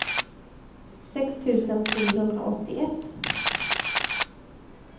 sex tusen trehundraåttioett